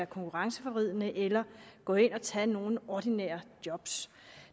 konkurrenceforvridende eller går ind og tager nogle ordinære job